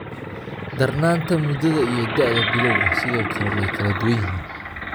Darnaanta, muddada iyo da'da bilawga sidoo kale way kala duwan yihiin.